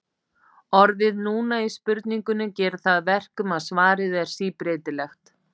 orðið núna í spurningunni gerir það að verkum að svarið er síbreytilegt